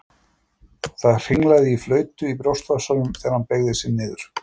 Það hringlaði í flautu í brjóstvasanum þegar hann beygði sig niður.